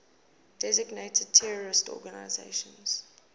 designated terrorist organizations